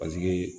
Paseke